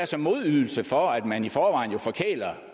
som modydelse for at man i forvejen forkæler